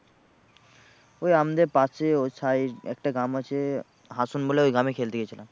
ওই আমাদের পাশে ওই side একটা গ্রাম আছে হাসোন বলে, ওই গ্রামে খেলতে গিয়েছিলাম।